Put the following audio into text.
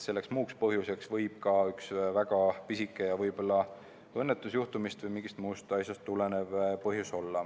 Muuks põhjuseks võib olla ka üks väga pisike ja õnnetusjuhtumist või mingist muust asjast tulenev põhjus.